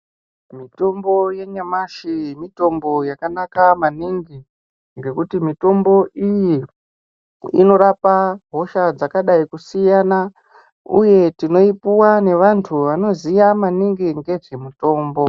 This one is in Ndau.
Mitombo yenyamashi mitombo yakanaka maningi ngekuti mitombo iyi inorapa hosha dzakadai kusiyana, uye tinoipuva nevantu vanoziya maningi ngezvemitombo.